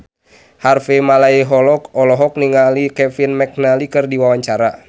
Harvey Malaiholo olohok ningali Kevin McNally keur diwawancara